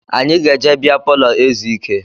Anyị ga-eje beer palọ ezu ike